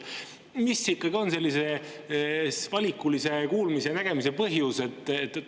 Mis ikkagi on sellise valikulise kuulmise ja nägemise põhjus?